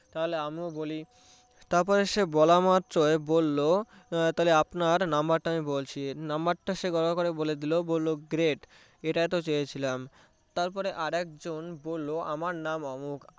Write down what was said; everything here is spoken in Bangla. তাহলে আমিও বলি তারপরে সে বলা মাত্রই বললো তাহলে আপনার number টা বলছি number টা সেভাবে করে বলে দিলো বললো great এটাই তো চেয়েছিলাম তারপরে আরেকজন বললো আমার নাম অমুক